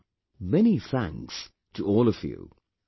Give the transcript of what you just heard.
Once again, many thanks to all of you